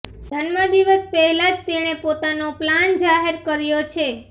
જન્મ દિવસ પહેલા જ તેણે પોતાનો પ્લાન જાહેર કર્યો છે